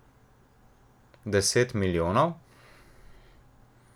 Deset milijonov?